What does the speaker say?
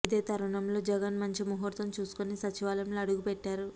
ఇదే తరుణంలో జగన్ మంచి ముహూర్తం చూసుకుని సచివాలయంలో అడుగు పెట్టారు